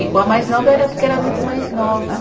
E com a mais nova era porque era muito mais nova.